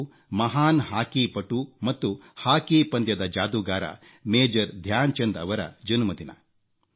ಇದು ಮಹಾನ್ ಹಾಕಿಪಟು ಮತ್ತು ಹಾಕಿ ಪಂದ್ಯದ ಜಾದೂಗಾರ ಮೇಜರ್ ಧ್ಯಾನ್ಚಂದ್ ಅವರ ಜನ್ಮದಿನ